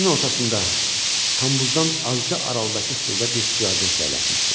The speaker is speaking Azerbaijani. Keçidin ortasında, kambuzdan azca aralıdakı stulda bir stüardessa əyləşmişdi.